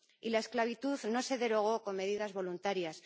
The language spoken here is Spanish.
Y la esclavitud no se derogó con medidas voluntarias.